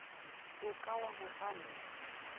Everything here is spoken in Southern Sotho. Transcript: o ka wa mo palla